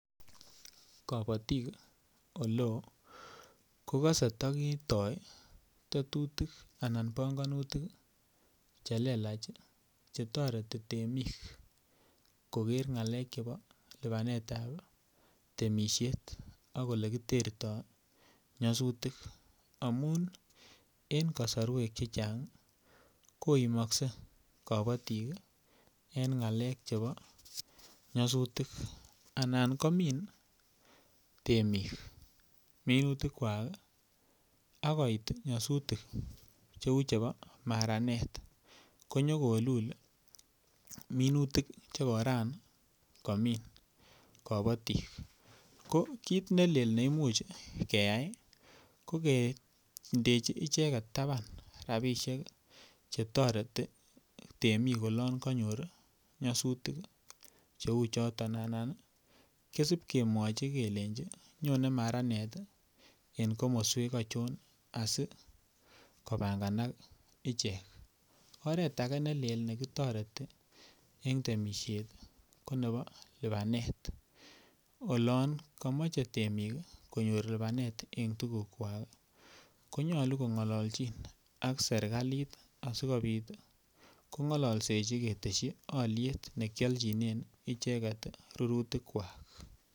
Kabatik kokose ta kitoi tetutik anan panganutik Che lelach Che toreti temik koger ngalek chebo lipanetap ab temisiet ak Ole kitertoi nyasutik amun en kasarwek Che Chang koimokse kabatik en ngalek chebo nyasutik anan komin temik minutikwak ak koit nyasutik Cheu chebo maranet konyo kolul minutik Che Koran komin kabatik ko kit ne lel ne Imuch keyai ko kindechi icheget taban rabisiek Che toreti temik olon kanyor nyasutik Cheu choto anan kosib kemwochi kelenji nyone maranet en komoswek achon asi kobanganak ichek oret age ne lel ne kitoreten en temisiet ko nebo lipanet olon komoche temik lipanet en tugukwak ko nyolu kongolchin ak serkalit asikobit kongolchin ketesyi alyet nekialchinen icheget rurutik kwak